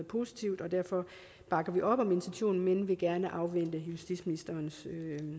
positiv og derfor bakker vi op om intentionen men vil gerne afvente justitsministerens